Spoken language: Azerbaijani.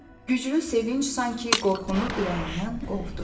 Güclü sevinc sanki qorxunu ürəyindən qovdu.